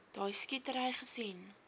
daai skietery gesien